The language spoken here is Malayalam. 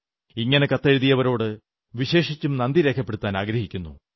ഇങ്ങനെ കത്തെഴുതിയവരോട് വിശേഷിച്ചും നന്ദി രേഖപ്പെടുത്താനാഗ്രഹിക്കുന്നു